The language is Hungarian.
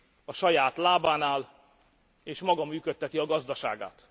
A saját lábán áll, és maga működteti a gazdaságát.